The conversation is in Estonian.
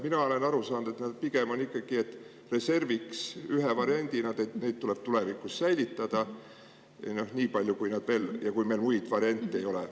Mina olen aru saanud, et pigem on need mõeldud ikkagi reserviks, ühe variandina ja et neid tuleb tulevikus säilitada nii palju, kui veel, kui meil muid variante ei ole.